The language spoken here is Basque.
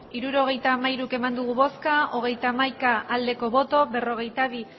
hirurogeita hamairu eman dugu bozka hogeita hamaika bai berrogeita bi